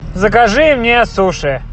закажи мне суши